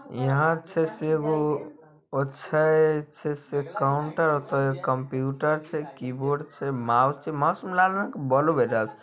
यहां छै से एगो छै काउंटर पर कंप्यूटर छै कीबोर्ड छै माउस छै माउस में लाल रंग के बोलो बेर रहल छै।